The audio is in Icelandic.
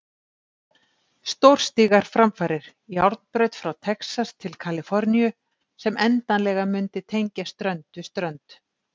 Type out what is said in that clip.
Stórstígar framfarir, járnbraut frá Texas til Kaliforníu sem endanlega mundi tengja strönd við strönd.